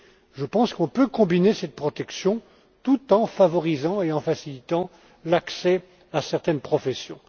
Je pense que nous pouvons combiner cette protection tout en favorisant et en facilitant l'accès à certaines professions.